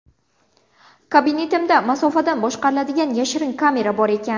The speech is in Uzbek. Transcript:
Kabinetimda masofadan boshqariladigan yashirin kamera bor ekan.